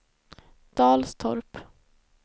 Dalstorp